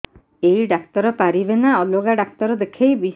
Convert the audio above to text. ଏଇ ଡ଼ାକ୍ତର ପାରିବେ ନା ଅଲଗା ଡ଼ାକ୍ତର ଦେଖେଇବି